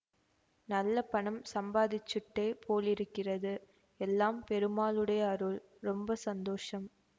நல்ல பணம் சம்பாதிச்சுட்டே போலிருக்கிறது எல்லாம் பெருமாளுடைய அருள் ரொம்ப சந்தோஷம்